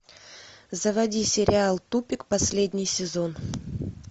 заводи сериал тупик последний сезон